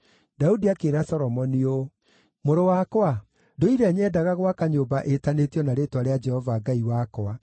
Daudi akĩĩra Solomoni ũũ: “Mũrũ wakwa, ndũire nyendaga gwaka nyũmba ĩtanĩtio na rĩĩtwa rĩa Jehova Ngai wakwa.